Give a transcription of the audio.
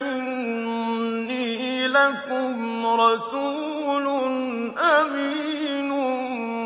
إِنِّي لَكُمْ رَسُولٌ أَمِينٌ